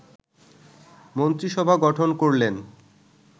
মন্ত্রিসভা গঠন করলেন